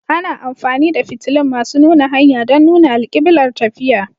Ana amfani da fitilun masu nuna hanya don nuna alkiblar tafiya.